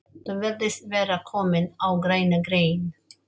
Þú virðist vera kominn á græna grein